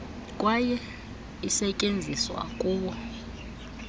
kwaye isetyenziswa kuwo